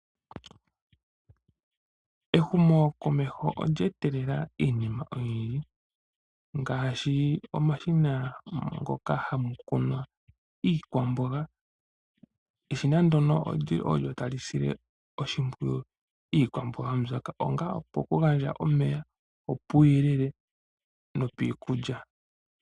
Ehumokomeho olye etelela iinima oyindji ngaashi omashina ngoka haga kunwa iikwamboga . Omashina ngano ogeli haga sile oshimpwiyu iikwamboga mbyoka mokugandja omeya niikulya.